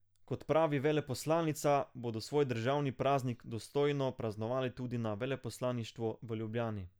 Kot pravi veleposlanica, bodo svoj državni praznik dostojno praznovali tudi na veleposlaništvu v Ljubljani.